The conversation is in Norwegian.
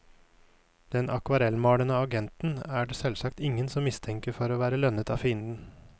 Den akvarellmalende agenten er det selvsagt ingen som mistenker for å være lønnet av fienden.